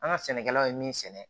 An ka sɛnɛkɛlaw ye min sɛnɛ